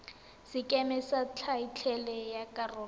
sekeme sa thaetlele ya karolo